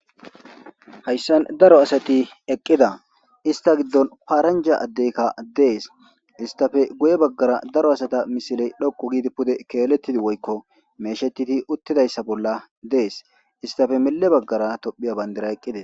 Hsyssn daro asathi eqida istha gidon paranja addeykka dees isthape guyebagara daro asatja misoley dhoqi gidi pude keelethidi wuyko meeshethidi uthidasysa bolla dees isthape miye bagata Thppiya bandiray eqides.